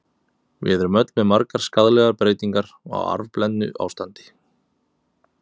Við erum öll með margar skaðlegar breytingar, á arfblendnu ástandi.